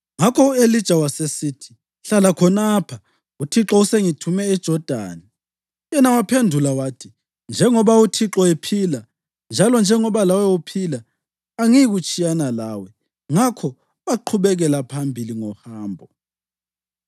Ngakho u-Elija wasesithi, “Hlala khonapha; uThixo usengithume eJodani.” Yena waphendula wathi, “Njengoba uThixo ephila njalo njengoba lawe uphila, angiyikutshiyana lawe.” Ngakho baqhubekela phambili ngohambo.